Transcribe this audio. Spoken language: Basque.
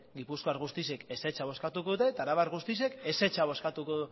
gipuzkoar guztiek ezetza bozkatuko dute eta arabar guztiek ezetza bozkatuko